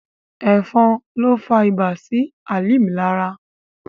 Ẹ̀fọn ló fa ibà sí Hàlímà lára.